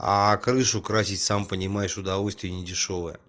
крышу красить сам понимаешь удовольствие недешёвое